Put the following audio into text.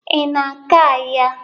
Ị na-aga ahịa?